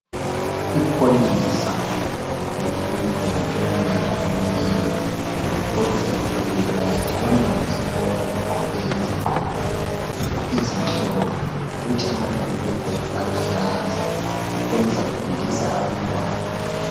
Ipholisa ligqoke iyunifomu elombala omunyama. Ipholisa lifake iwatshi. Abantwana besikolo bagqoke izigqoko ezimhlophe, kuthi amabhulugwe aluhlaza. Ipholisa lifundisa abantwana.